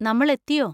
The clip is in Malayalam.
നമ്മൾ എത്തിയോ?